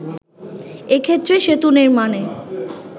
এ ক্ষেত্রে সেতু নির্মাণে